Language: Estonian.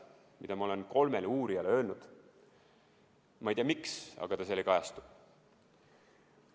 Ma olen seda kolmele uurijale öelnud, ma ei tea, miks, aga see seal ei kajastu.